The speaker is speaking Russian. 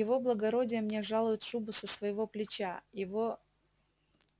его благородие мне жалует шубу со своего плеча его